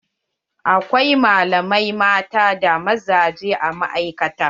Akwai malamai mata da mazaje a ma'aikata.